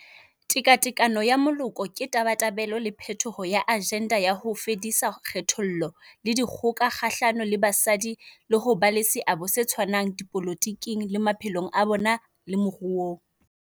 Tekatekano ya Moloko ke tabatabelo le phethoho ya ajenda ya ho fedisa kgethollo le dikgoka kgahlano le basadi le ho ba le seabo se tshwanang dipolotiking, le maphelong a bona le moruong.